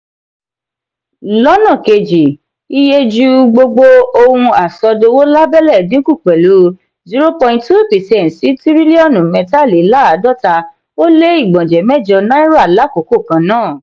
lọnà keji iyeju gbogbo ohun asodowo lábélé dínkù pẹlu zero point two percent sí tiriliọnu mẹta-le-laadota o le igbọnjẹ mẹjọ náírà l'akoko kannáà.